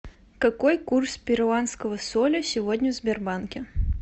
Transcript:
какой курс перуанского соля сегодня в сбербанке